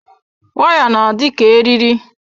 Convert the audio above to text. Waya na-adị ka eriri.